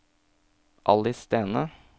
Alice Stene